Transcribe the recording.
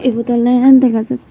ebot oley enn dega jate.